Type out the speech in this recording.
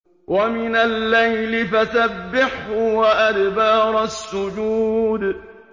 وَمِنَ اللَّيْلِ فَسَبِّحْهُ وَأَدْبَارَ السُّجُودِ